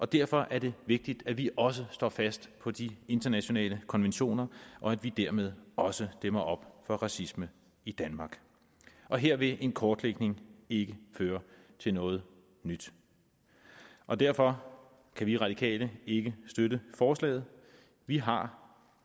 derfor er det vigtigt at vi også står fast på de internationale konventioner og at vi dermed også dæmmer op for racisme i danmark og her vil en kortlægning ikke føre til noget nyt og derfor kan vi radikale ikke støtte forslaget vi har